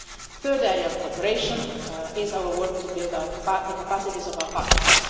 The third area of cooperation is our work to build the capacities of our partners.